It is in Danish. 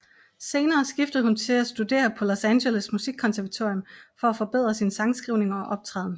Senere skiftede hun til at studere på Los Angeles Musikkonservatorium for at forbedre sin sangskrivning og optræden